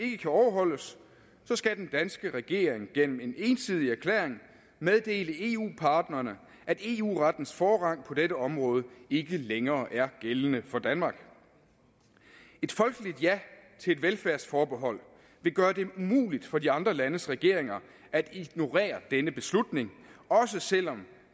ikke kan overholdes skal den danske regering gennem en ensidig erklæring meddele eu partnerne at eu rettens forrang på dette område ikke længere er gældende for danmark et folkeligt ja til et velfærdsforbehold vil gøre det umuligt for de andre landes regeringer at ignorere denne beslutning også selv om